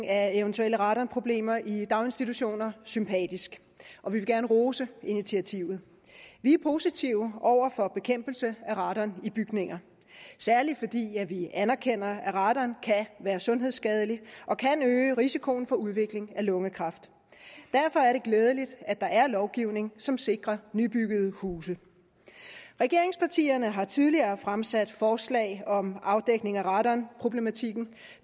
af eventuelle radonproblemer i daginstitutioner sympatisk og vi vil gerne rose initiativet vi er positive over for bekæmpelse af radon i bygninger særlig fordi vi anerkender at radon kan være sundhedsskadelig og kan øge risikoen for udvikling af lungekræft derfor er det glædeligt at der er lovgivning som sikrer nybyggede huse regeringspartierne har tidligere opposition fremsat forslag om afdækning af radonproblematikken